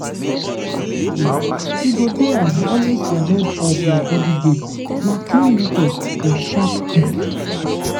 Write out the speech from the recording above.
if you dey observe your cycle wella you go dey always ahead of your body game na clean method for sharp people.